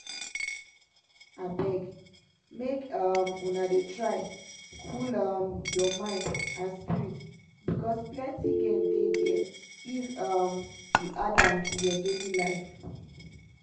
abeg make um una dey try cool um your mind and spirit because plenty gain dey der if um you add am to your daily life.